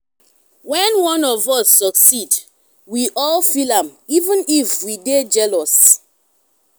when one of us succeed we all feel am even if we dey jealous.